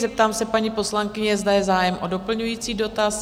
Zeptám se paní poslankyně, zda je zájem o doplňující dotaz?